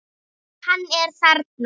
Hann er þarna.